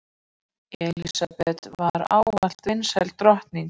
Elísabet var ávallt vinsæl drottning.